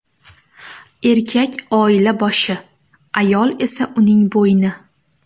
Erkak oila boshi, ayol esa uning bo‘yni.